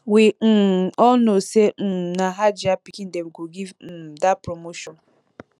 we um all know say um na hajiya pikin dem go give um dat promotion